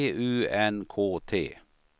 P U N K T